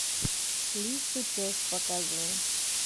лис и пес показывай